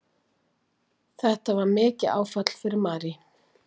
Þetta var mikið áfall fyrir Marie.